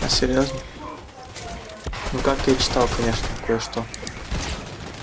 а серьёзно ну как я читал конечно кое-что